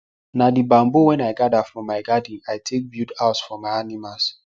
na the bamboo wen i gather from my garden i take build house for my animals